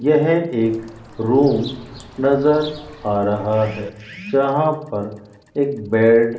यह एक रूम नजर आ रहा है जहां पर एक बेड --